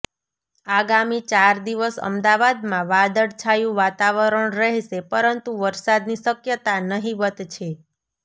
આગામી ચાર દિવસ અમદાવાદમાં વાદળછાયું વાતાવરણ રહેશે પરંતુ વરસાદની શક્યતા નહીંવત છે